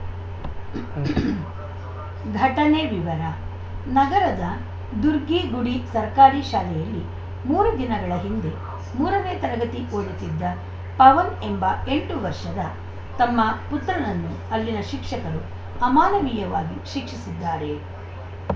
ಘಟನೆ ವಿವರ ನಗರದ ದುರ್ಗಿಗುಡಿ ಸರ್ಕಾರಿ ಶಾಲೆಯಲ್ಲಿ ಮೂರು ದಿನಗಳ ಹಿಂದೆ ಮೂರನೇ ತರಗತಿ ಓದುತ್ತಿದ್ದ ಪವನ್‌ ಎಂಬ ಎಂಟು ವರ್ಷದ ತಮ್ಮ ಪುತ್ರನನ್ನು ಅಲ್ಲಿನ ಶಿಕ್ಷಕರು ಅಮಾನವೀಯವಾಗಿ ಶಿಕ್ಷಿಸಿದ್ದಾರೆ